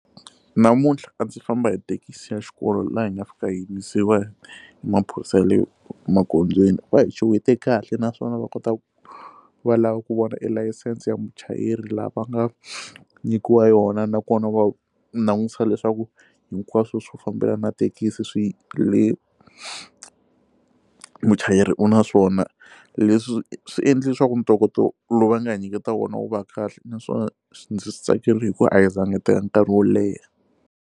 Namuntlha a ndzi famba hi thekisi ya xikolo laha hi nga fika yimisiwa hi maphorisa ya le magondzweni va hi xewete kahle naswona va kota ku va lava ku vona elayisense ya muchayeri laha va nga nyikiwa yona nakona va langutisa leswaku hinkwaswo swo fambelana na thekisi swi muchayeri u na swona leswi swi endle leswaku ntokoto lowu va nga ha nyiketa wona wu va kahle naswona swi ndzi swi tsakerile hi ku a hi za nga hi teka nkarhi wo leha.